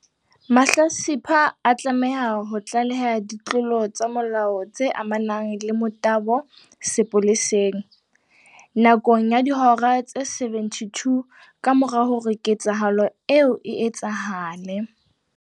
Mahlatsipa a tlameha ho tlaleha ditlolo tsa molao tse amanang le motabo sepoleseng, nakong ya dihora tse 72 kamora hore ketsahalo eo e etsahale.